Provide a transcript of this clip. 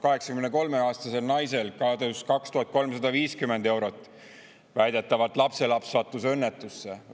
83‑aastasel naisel kadus 2350 eurot – väidetavalt lapselaps sattus õnnetusse.